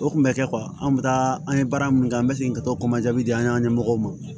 O kun bɛ kɛ anw bɛ taa an ye baara min kɛ an bɛ segin ka to kɔnjaadi di an ka ɲɛmɔgɔw ma